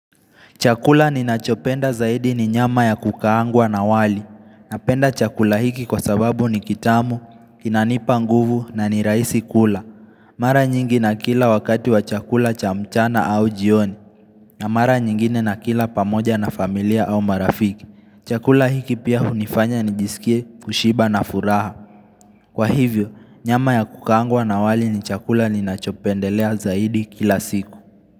Chakula ninachopenda zaidi ni nyama ya kukaangwa na wali. Napenda chakula hiki kwa sababu ni kitamu, kinanipa nguvu na ni rahisi kula. Mara nyingi nakila wakati wa chakula cha mchana au jioni. Na mara nyingine na kila pamoja na familia au marafiki. Chakula hiki pia hunifanya nijisikie kushiba na furaha. Kwa hivyo, nyama ya kukaangwa na wali ni chakula ni nachopendelea zaidi kila siku.